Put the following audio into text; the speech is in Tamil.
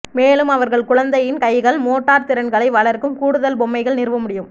மேலும் அவர்கள் குழந்தையின் கைகள் மோட்டார் திறன்களை வளர்க்கும் கூடுதல் பொம்மைகள் நிறுவ முடியும்